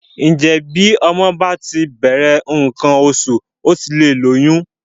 Ǹjẹ́ bí ọmọ bá ti bẹ̀rẹ̀ nǹkan oṣù ó ti lè lóyún?